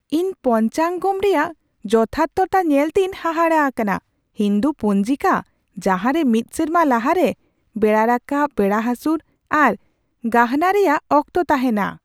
ᱤᱧ ᱯᱚᱧᱪᱟᱝᱜᱚᱢ ᱨᱮᱭᱟᱜ ᱡᱚᱛᱷᱟᱨᱛᱷᱚᱛᱟ ᱧᱮᱞᱛᱮᱧ ᱦᱟᱦᱟᱲᱟ ᱟᱠᱟᱱᱟ, ᱦᱤᱱᱫᱩ ᱯᱚᱧᱡᱤᱠᱟ ᱡᱟᱦᱟᱸᱨᱮ ᱢᱤᱫ ᱥᱮᱨᱢᱟ ᱞᱟᱦᱟᱨᱮ ᱵᱮᱲᱟ ᱨᱟᱠᱟᱯ, ᱵᱮᱲᱟ ᱦᱟᱹᱥᱩᱨ ᱟᱨ ᱜᱟᱦᱱᱟ ᱨᱮᱭᱟᱜ ᱚᱠᱛᱚ ᱛᱟᱦᱮᱱᱟ ᱾